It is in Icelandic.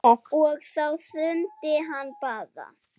Og þá hrundi hann bara.